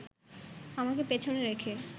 আমাকে পেছনে রেখে